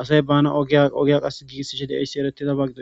asay baanawu ogiyaa ogiyaa qassi giigissishe de7ayssi ereththidaba gidoy.